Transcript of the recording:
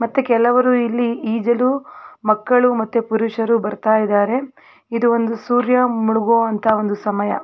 ಮತ್ತೆ ಕೆಲವರು ಇಲ್ಲಿ ಈಜಲು ಮಕ್ಕಳು ಮತ್ತು ಪುರುಷರು ಬರ್ತಾ ಇದಾರೆ ಇದೊಂದು ಸೂರ್ಯ ಮುಳುಗವಂತಹ ಸಮಯ.